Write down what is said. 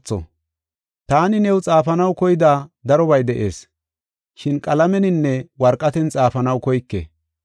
Taani new xaafanaw koyida darobay de7ees, shin qalameninne worqaten xaafanaw koyke.